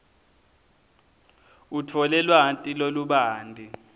utfole lwati lolubanti